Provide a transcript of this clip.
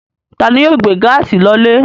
Ta ni yóò gbé gáásì yìí lọlé?